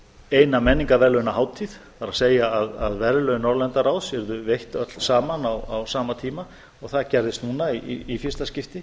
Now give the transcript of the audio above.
eina menningarverðlaunahátíð það er að verðlaun norðurlandaráðs yrðu veitt öll saman á sama tíma og það gerðist núna í fyrsta skipti